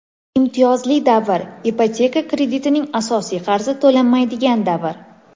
Imtiyozli davr – ipoteka kreditining asosiy qarzi to‘lanmaydigan davr.